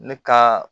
Ne ka